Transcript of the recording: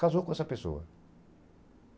Casou com essa pessoa.